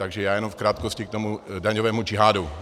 Takže já jenom v krátkosti k tomu daňovému džihádu.